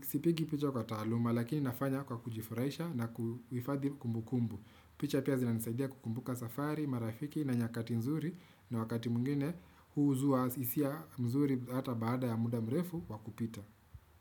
Sipigi picha kwa taluma lakini nafanya kwa kujifurahisha na kuhifadhi kumbu kumbu. Picha pia zina nisaidia kukumbuka safari, marafiki na nyakati nzuri na wakati mwingine huzua hisia nzuri hata baada ya muda mrefu wakupita.